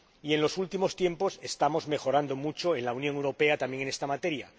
Y en los últimos tiempos estamos mejorando mucho en la Unión Europea también en esta materia.